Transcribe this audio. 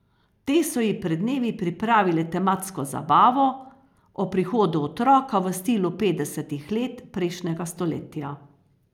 Te so ji pred dnevi pripravile tematsko zabavo ob prihodu otroka v stilu petdesetih let prejšnjega stoletja.